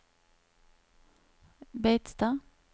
Beitstad